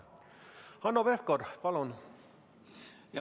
Hanno Pevkur, palun!